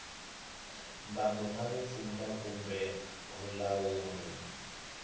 mbango na vupfhumba kumbe vulawuri